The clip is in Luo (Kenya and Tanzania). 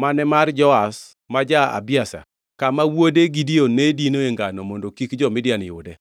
mane mar Joash ma ja-Abiezer, kama wuod Gideon ne dinoe ngano mondo kik jo-Midian yude.